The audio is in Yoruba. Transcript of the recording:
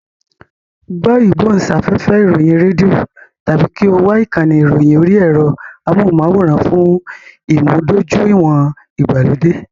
Gbọ́ ìgbóhùnsáfẹ́fẹ́ ìròyìn rédíò tàbí kí o wo ìkànnì ìròyìn orí ẹ̀rọ amóhùnmáwòrán fún ìmúdójúìwọ̀n ìgbàlódé.